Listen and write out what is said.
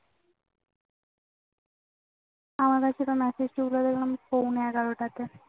আমার কাছে message দেখলাম পোনে এগারোটায়